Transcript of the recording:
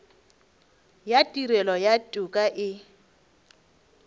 ya tirelo ya toka e